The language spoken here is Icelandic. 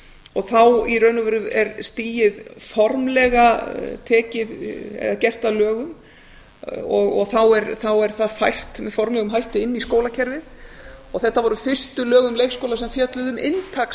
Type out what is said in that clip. og þá í raun og veru er stigið formlega gert að lögum og þá er það fært með formlegum hætti inn í skólakerfið og þetta voru fyrstu lög um leikskóla sem fjölluðu um inntak